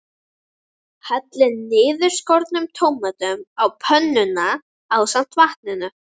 Hellið niðurskornu tómötunum út á pönnuna ásamt vatninu.